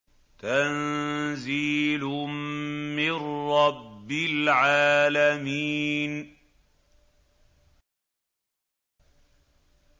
تَنزِيلٌ مِّن رَّبِّ الْعَالَمِينَ